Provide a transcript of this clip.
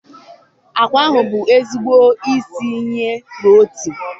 agwa bụ ezigbo isi iyi protein